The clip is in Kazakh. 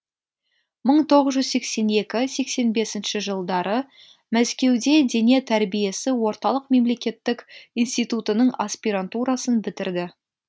мың тоғыз жүз сексен екі сексен бесінші жылдары мәскеуде дене тәрбиесі орталық мемлекеттік институтының аспирантурасын бітірді